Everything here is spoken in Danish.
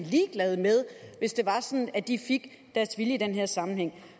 ligeglad med hvis det var sådan at de fik deres vilje i den her sammenhæng